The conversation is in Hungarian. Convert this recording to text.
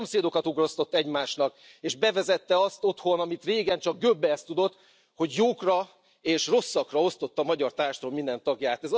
Szomszédokat ugrasztott egymásnak és bevezette azt otthon, amit régen csak Göbbels tudott, hogy jókra és rosszakra osztotta a magyar társadalom minden tagját.